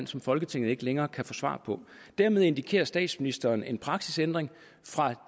som folketinget ikke længere kan få svar på dermed indikerer statsministeren en praksisændring fra